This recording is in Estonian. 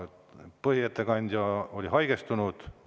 Põhiettekandja oli haigestunud.